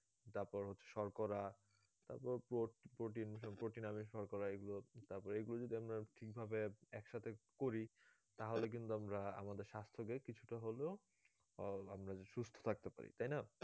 তারপর হচ্ছে শর্করা তারপর pro~ protein protein করা এগুলো তারপর এইগুলো যদি আমরা ঠিক ভাবে একসাথে করি তাহলে কিন্তু আমরা আমাদের স্বাস্থ কে কিছুটা হলেও আমরা সুস্থ থাকতে পারি তাই না